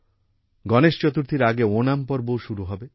গণেশ চতুর্থীর আগে ওনাম পর্বও শুরু হবে